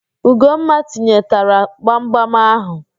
Ugomma tinyetara gbamgbam ahụ